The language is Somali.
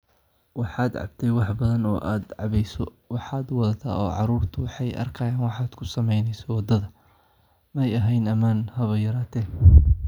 "Waxaad cabtay wax badan oo aad cabbeyso, waxaad wadataa oo caruurtu waxay arkayaan waxaad ku samaynayso wadada - ma ahayn ammaan haba yaraatee."